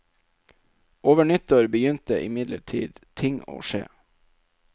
Over nyttår begynte imidlertid ting å skje.